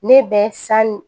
Ne bɛ san